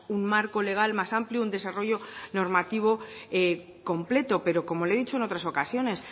un marco legal más amplio un desarrollo normativo completo pero como le he dicho en otras ocasiones